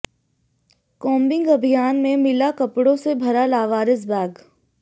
combing अभियान में मिला कपड़ों से भरा लावारिस बैग